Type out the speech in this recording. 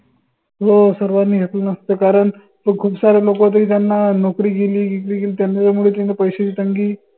हो सर्वांनी घेतलं नसत कारन खूप सारे लोक होते की त्यांना नौकरी गेली जिकरी गेली पैश्याची तंगी